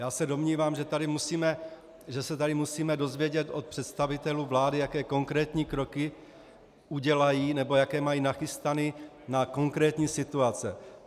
Já se domnívám, že se tady musíme dozvědět od představitelů vlády, jaké konkrétní kroky udělají, nebo jaké mají nachystané na konkrétní situace.